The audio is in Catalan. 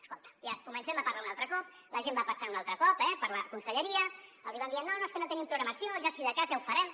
es·colta en comencem a parlar un altre cop la gent va passant un altre cop eh per la conselleria els hi van dient no no és que no tenim programació si de cas ja ho farem